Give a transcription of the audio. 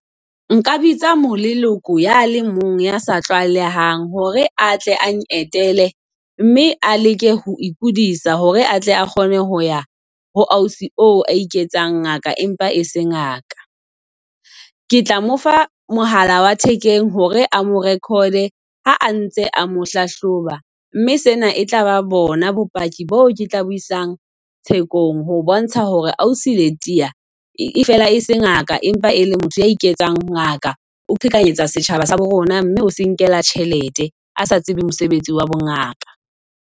Nka bitsa moleloko ya le mong ya sa tlwaelehang hore atle ang etelle mme a leke ho ikodisa hore atle a kgone ho ya ho ausi oo a iketsang ngaka, empa e se ngaka. Ke tla mo fa mohala wa thekeng hore a mo record-e ha ntse a mo hlahloba. Mme sena e tlaba bona bopaki bo ke tla bo isang thekong. Ho bontsha hore ausi Letiya e fela e se ngaka. Empa e le motho ya iketsang ngaka. O qhekanyetsa setjhaba sa bona mme o se nkela tjhelete. A sa tsebe mosebetsi wa bo ngaka.